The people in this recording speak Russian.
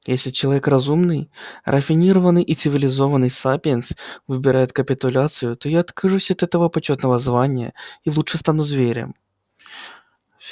если человек разумный рафинированный и цивилизованный сапиенс выбирает капитуляцию то я откажусь от этого почётного звания и лучше стану зверем